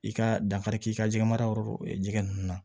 I ka dankari k'i ka jɛgɛmarayɔrɔ jɛgɛ ninnu na